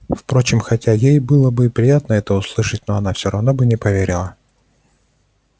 впрочем хотя ей и было бы приятно это услышать но она всё равно бы не поверила